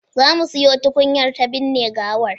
Za mu siyo tukunyar ta binne gawar